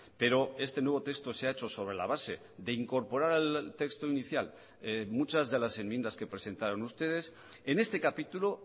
pero este nuevo texto se ha hecho sobre la base de incorporar al texto inicial muchas de las enmiendas que presentaron ustedes en este capítulo